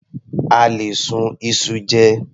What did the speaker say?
A lè sun iṣu jẹ.